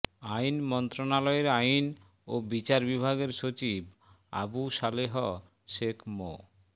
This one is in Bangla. আইন মন্ত্রণালয়ের আইন ও বিচার বিভাগের সচিব আবু সালেহ শেখ মো